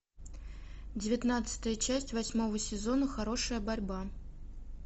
девятнадцатая часть восьмого сезона хорошая борьба